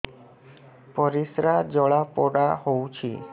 ପରିସ୍ରା ଜଳାପୋଡା ହଉଛି